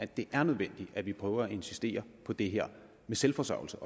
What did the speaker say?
det er nødvendigt at vi prøver at insistere på det her med selvforsørgelse